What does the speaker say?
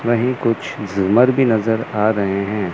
वहीं कुछ झूमर भी नजर आ रहे हैं।